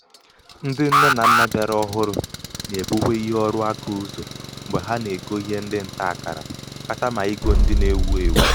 ndị nne na nnà bịara ọhụrū nà-èbuwe ihe ọrụaka ụzọ̀ mgbe ha nà-ègo ihe ndị ǹtaàkàrà katamà igō ndị na-ewū èwù.